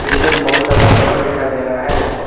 पीछे में बहुत ज्यादा घर दिखाई दे रहा है।